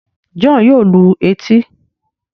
John yóò lù etí